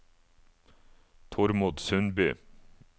Tormod Sundby